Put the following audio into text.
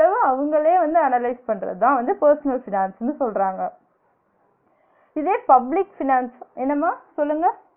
அவங்களே வந்து analyze பண்றதுதான் வந்து personal finance ன்னு சொல்றாங்க இதே public finance என்னம்மா சொல்லுங்க?